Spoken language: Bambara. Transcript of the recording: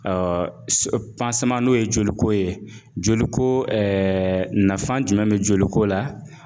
n'o ye joliko ye joli ko nafan jumɛn bɛ joliko la